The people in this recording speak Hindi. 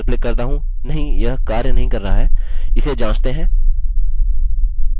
मैं फिर से कोशिश करता हूँ लॉगिन पर क्लिक करता हूँ नहीं यह कार्य नहीं कर रहा है